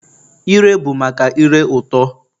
Ire bụ maka ire ụtọ